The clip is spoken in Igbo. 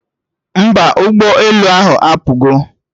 Mba, ụgbọ elu ahụ apụgo